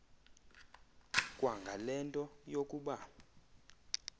kwangale nto yokuba